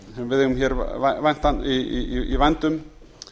sem við eigum í vændum